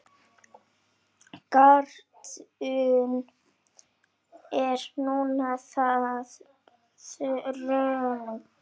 Gatan er nú þegar þröng.